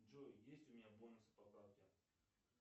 джой есть у меня бонусы по карте